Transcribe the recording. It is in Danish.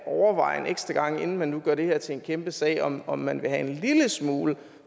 overveje en ekstra gang inden man nu gør det her til en kæmpe sag om om man vil have en lille smule